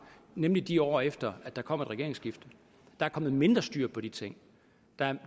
nemlig de år efter der kom et regeringsskifte der er kommet mindre styr på de ting